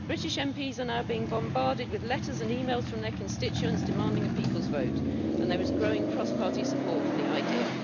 British MPs are now being bombarded with letters and emails from their constituents demanding a people's vote, and there is growing cross party support for the idea.